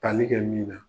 Tali kɛ min na